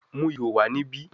Mu iho wa nibi